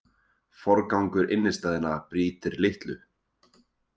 Forgangur innistæðna breytir litlu